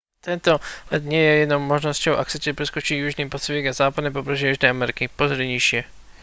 tento let nie je jedinou možnosťou ak chcete preskočiť južný pacifik a západné pobrežie južnej ameriky. pozri nižšie